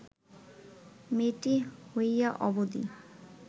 মেয়েটি হইয়া অবধি